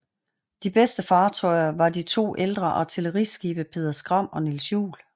De bedste fartøjer var de to ældre artilleriskibe Peder Skram og Niels Juel